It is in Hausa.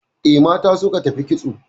E, mata suka tafi kitso